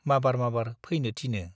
माबार माबार फैनो थिनो ।